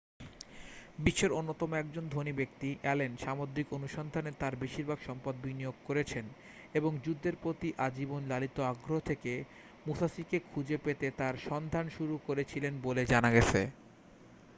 বিশ্বের অন্যতম একজন ধনী ব্যক্তি অ্যালেন সামুদ্রিক অনুসন্ধানে তাঁর বেশিরভাগ সম্পদ বিনিয়োগ করেছেন এবং যুদ্ধের প্রতি আজীবন লালিত আগ্রহ থেকে মুসাশিকে খুঁজে পেতে তার সন্ধান শুরু করেছিলেন বলে জানা গেছে